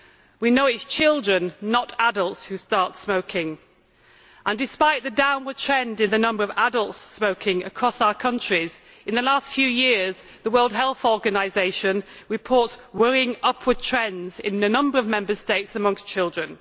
We know it is children, not adults, who start smoking, and despite the downward trend in the number of adults smoking across our countries, in the last few years the World Health Organisation reports worrying upward trends in a number of Member States amongst children.